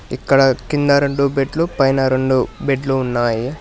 ఇక్కడ కింద రెండు బెడ్లు పైన రెండు బెడ్లు ఉన్నాయి.